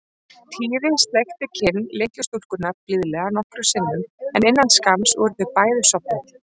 Týri sleikti kinn litlu stúlkunnar blíðlega nokkrum sinnum en innan skamms voru þau bæði sofnuð.